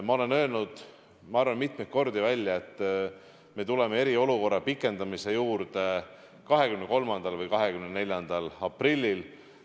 Ma olen öelnud, ma arvan, mitmeid kordi, et me tuleme eriolukorra pikendamise juurde 23. või 24. aprillil.